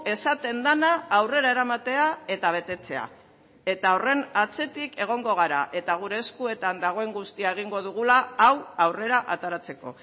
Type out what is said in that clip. esaten dena aurrera eramatea eta betetzea eta horren atzetik egongo gara eta gure eskuetan dagoen guztia egingo dugula hau aurrera ateratzeko